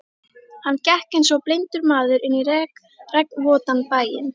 Hann gekk einsog blindur maður inn í regnvotan bæinn.